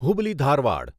Hubli Dharwad